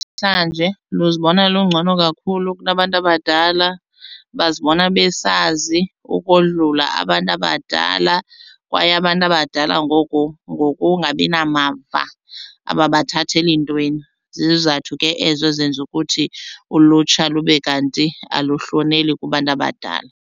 Namhlanje luzibona lungcono kakhulu kunabantu abadala bazibona besazi ukodlula abantu abadala kwaye abantu abadala ngoku ngokungabi namava ababathatheli ntweni. Zizathu ke ezo ezenza ukuthi ulutsha lube kanti aluhloneli kubantu abadala.